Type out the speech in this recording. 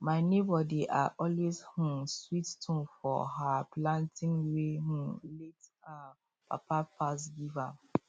my neighbor dey um always sweet tune for um planting wey him late um papa pass give am